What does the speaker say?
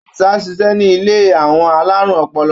Àdìsá ń ṣiṣẹ́ ní ilé àwọn alárùn ọpọlọ.